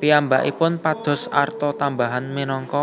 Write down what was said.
Piyambakipun pados arta tambahan minangka